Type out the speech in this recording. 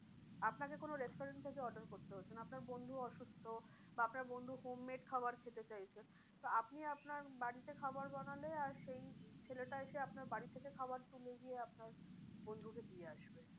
আপনাকে কোনো restaurant থেকে order করতে হচ্ছে না আপনার বন্ধুও অসুস্থ বা আপনার বন্ধু home made খাবার খেতে চাইছে। তো আপনি আপনার বাড়িতে খাবার বানালে আর সেই ছেলেটা এসে আপনার বাড়ি থেকে খাবার তুলে গিয়ে আপনার বন্ধুকে দিয়ে আসবে।